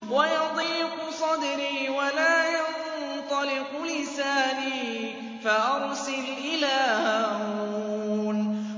وَيَضِيقُ صَدْرِي وَلَا يَنطَلِقُ لِسَانِي فَأَرْسِلْ إِلَىٰ هَارُونَ